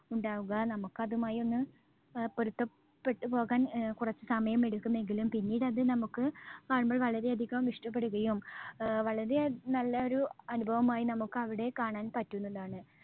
ഉണ്ടാവുക. നമുക്ക് അതുമായി ഒന്ന് അഹ് പൊരുത്തപ്പെട്ടുപോകാൻ അഹ് കുറച്ച് സമയമെടുക്കും എങ്കിലും പിന്നീട് അത് നമുക്ക് കാണുമ്പോൾ വളരെയധികം ഇഷ്ടപ്പെടുകയും ആഹ് വളരെ നല്ല ഒരു അനുഭവമായി നമുക്ക് അവിടെ കാണാൻ പറ്റുന്നതാണ്.